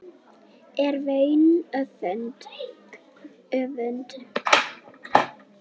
er vaun öfund